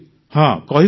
ହଁ କହିବୁ ସାର୍